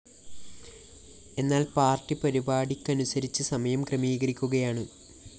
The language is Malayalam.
എന്നാല്‍ പാര്‍ട്ടി പരിപാടിക്കനുസരിച്ച് സമയം ക്രമീകരിക്കുകയാണ്